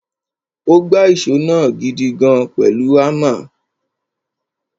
Ó gbá ìṣó náà gidigan pẹ̀lú hámà.